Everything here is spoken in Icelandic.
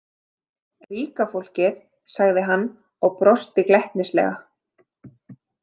Ríka fólkið, sagði hann og brosti glettnislega.